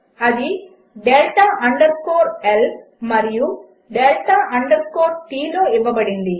అది delta underscore L మరియు delta underscore T లో ఇవ్వబడింది